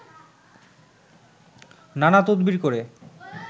নানা তদবির করে